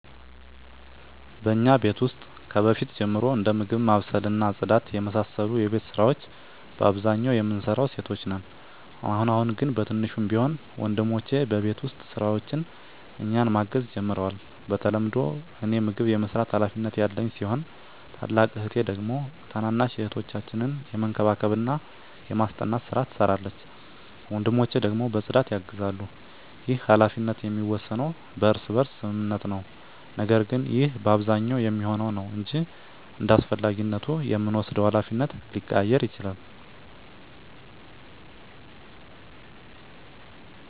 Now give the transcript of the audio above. በእኛ ቤት ውስጥ ከበፊት ጀምሮ እንደ ምግብ ማብሰል እና ጽዳት የመሳሰሉ የቤት ስራወች በአብዛኛው የምንሰራው ሴቶች ነን። አሁን አሁን ግን በትንሹም ቢሆን ወንድሞቸ በቤት ውስጥ ስራዎች እኛን ማገዝ ጀምረዋል። በተለምዶ እኔ ምግብ የመስራት ሀላፊነት ያለኝ ሲሆን ታላቅ እህቴ ደግሞ ታናናሽ እህቶቻችንን የመንከባከብና የማስጠናት ስራ ትሰራለች። ወንድሞቸ ደግሞ በፅዳት ያግዛሉ። ይህ ሀላፊነት የሚወሰነው በእርስ በርስ ስምምነት ነው። ነገር ግን ይህ በአብዛኛው የሚሆነው ነው እንጅ እንዳስፈላጊነቱ የምንወስደው ሀላፊነት ሊቀያየር ይችላል።